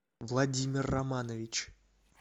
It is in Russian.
владимир романович